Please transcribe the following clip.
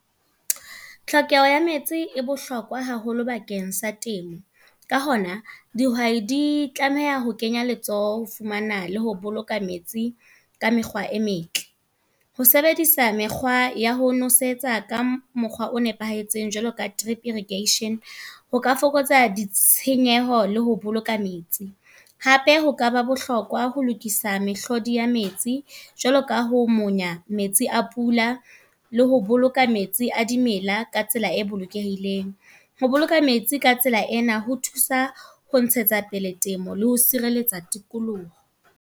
Tlhokeho ya metsi e bohlokwa haholo bakeng sa temo. Ka hona, dihwai di tlameha ho kenya letsoho, ho fumana le ho boloka metsi ka mekgwa e metle. Ho sebedisa mekgwa ya ho nosetsa ka mokgwa o nepahetseng jwaloka trip eradication. Ho ka fokotsa ditshenyehelo le ho boloka metsi. Hape ho ka ba bohlokwa ho lokisa mehlodi ya metsi e jwalo ka ho monya metsi a pula le ho boloka metsi a dimela ka tsela e bolokehileng. Ho boloka metsi ka tsela ena ho thusa ho ntshetsa pele temo le ho sireletsa tikoloho.